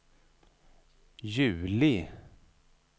juli